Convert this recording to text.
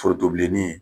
Foronto bilenni ye